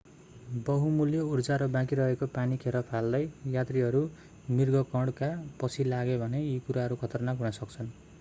बहुमूल्य उर्जा र बाँकी रहेको पानी खेर फाल्दै यात्रीहरू मृगकणका पछि लागे भने यी कुराहरू खतरनाक हुन सक्छन्